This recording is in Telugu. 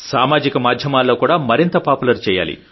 సామాజిక మాధ్యమాల్లో మరింత పాపులర్ చేయాలి